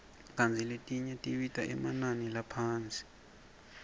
kantsi letinye tibita emanani laphasi